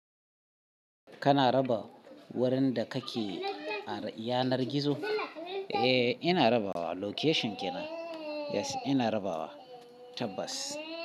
Kana raba wurin da kake a yanar gizo? Eh, ina rabawa location kenan. Yes ina rabawa tabbas.